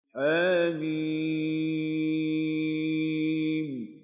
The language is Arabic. حم